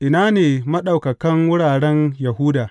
Ina ne maɗaukakan wuraren Yahuda?